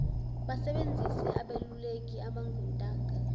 basebenzise abeluleki abangontanga